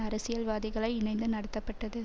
அரசியல்வாதிகளை இணைந்து நடத்தப்பட்டது